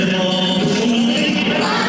Həmidə!